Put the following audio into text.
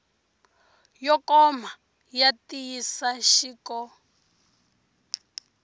yo koma ya ntiyiso xik